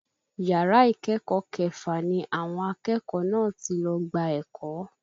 Yàrá ìkẹ́kọ̀ọ́ kẹfà ni àwọn akẹ́kọ̀ọ́ náà ti lọ gba ẹ̀kọ́